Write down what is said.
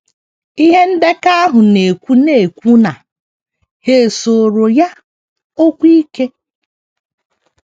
Ihe ndekọ ahụ na - ekwu na - ekwu na ‘ ha sooro ya okwu ike. ’